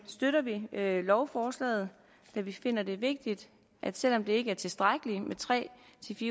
støtter vi lovforslaget da vi finder det vigtigt at selv om det ikke er tilstrækkeligt med tre